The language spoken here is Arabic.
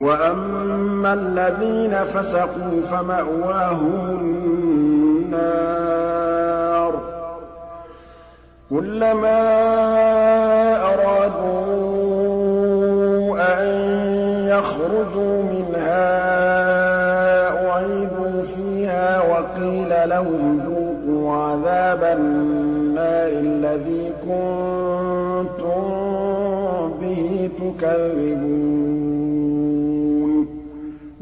وَأَمَّا الَّذِينَ فَسَقُوا فَمَأْوَاهُمُ النَّارُ ۖ كُلَّمَا أَرَادُوا أَن يَخْرُجُوا مِنْهَا أُعِيدُوا فِيهَا وَقِيلَ لَهُمْ ذُوقُوا عَذَابَ النَّارِ الَّذِي كُنتُم بِهِ تُكَذِّبُونَ